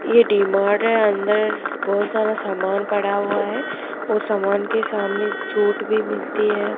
ये D Mart है अंदर बहोत सारा समान पड़ा हुआ है और सामन के सामने एक चोट भी मिलती है।